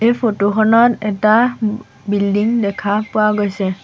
এই ফটোখনত এটা উ বিল্ডিং দেখা পোৱা গৈছে।